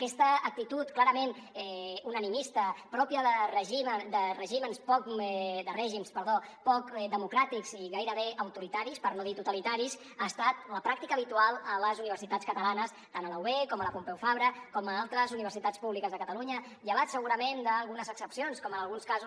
aquesta actitud clarament unanimista pròpia de règims poc democràtics i gairebé autoritaris per no dir totalitaris ha estat la pràctica habitual a les universitats catalanes tant a la ub com a la pompeu fabra com a altres universitats públiques de catalunya llevat segurament d’algunes excepcions com en alguns casos